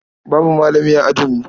Babu malami a ajinmu.